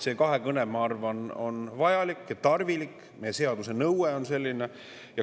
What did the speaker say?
See kahekõne, ma arvan, on vajalik, tarvilik ja meie seaduse nõue on selline.